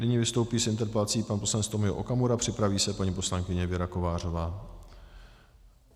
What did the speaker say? Nyní vystoupí s interpelací pan poslanec Tomio Okamura, připraví se paní poslankyně Věra Kovářová.